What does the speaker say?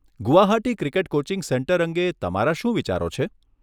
Guwahati cricket coaching centre અંગે તમારા શું વિચારો છે?